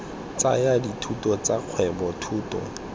tsaya dithuto tsa kgwebo thuto